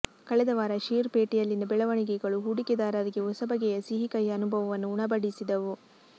ಕಳೆದ ವಾರ ಷೇರು ಪೇಟೆಯಲ್ಲಿನ ಬೆಳವಣಿಗೆಗಳು ಹೂಡಿಕೆದಾರರಿಗೆ ಹೊಸ ಬಗೆಯ ಸಿಹಿ ಕಹಿ ಅನುಭವವನ್ನು ಉಣಬಡಿಸಿದವು